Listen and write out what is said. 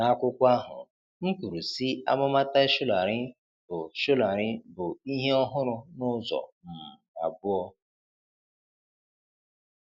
N'akwụkwọ ahụ, m kwuru, sị, 'Amụma Tai Solarin bụ Solarin bụ ihe ọhụrụ n'ụzọ um abụọ.